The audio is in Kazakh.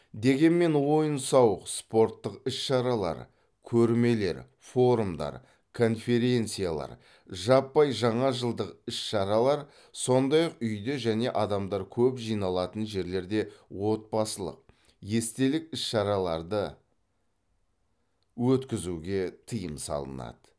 дегенмен ойын сауық спорттық іс шаралар көрмелер форумдар конференциялар жаппай жаңа жылдық іс шаралар сондай ақ үйде және адамдар көп жиналатын жерлерде отбасылық естелік іс шараларды өткізуге тыйым салынады